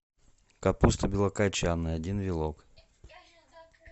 капуста белокочанная один вилок